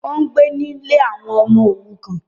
Ó ń gbé nílé àwọn ọmọ òrukàn